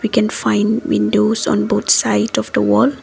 can find windows on both side of the wall.